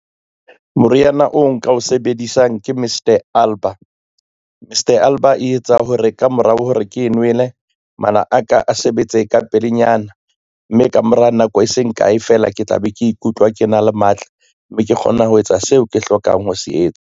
Moriana o nka o sebedisang ke Mist-e Alba. Mist-e Alba e etsa ho re ka mora hore ke nwele mala aka a sebetse ka pelenyana, mme ka mora nako e seng kae fela, ke tla be ke ikutlwa ke na le matla, mme ke kgona ho etsa seo ke hlokang ho se etsa.